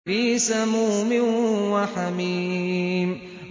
فِي سَمُومٍ وَحَمِيمٍ